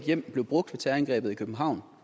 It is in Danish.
hjem blev brugt ved terrorangrebet i københavn